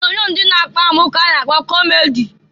Onyoonyo ndị na-akpa amụ ka a na-kpọ kọmedi.